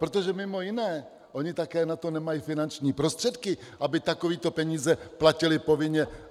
Protože mimo jiné, oni také na to nemají finanční prostředky, aby takové peníze platili povinně.